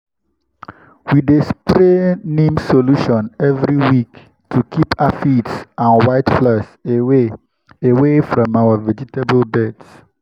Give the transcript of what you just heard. we dey spray neem solution every week to keep aphids and whiteflies away away from our vegetable beds.